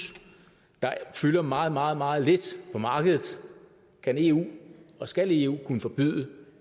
der fylder meget meget meget lidt på markedet kan eu og skal eu kunne forbyde